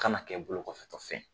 Kana kɛ bolo kɔfɛtɔ fɛn ye!